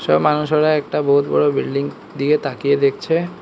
সব মানুষোরা একটা বহুৎ বড় বিল্ডিং দিকে তাকিয়ে দেখছে।